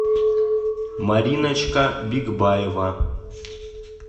мариночка бикбаева